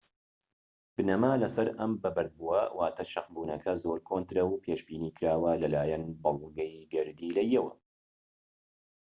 بنەما لەسەر ئەم بەبەردبووە واتە شەقبونەکە زۆر کۆنترە و پێشبینیکراوە لەلایەن بەڵگەی گەردیلەییەوە